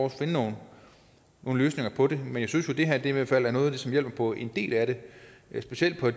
at finde nogle løsninger på det jeg synes jo at det her i hvert fald er noget af det som hjælper på en del af det specielt for